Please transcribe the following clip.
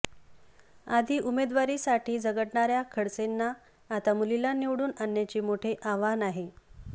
आधी उमेदवारीसाठी झगडणार्या खडसेंना आता मुलीला निवडून आणण्याचे मोठे आव्हान आहे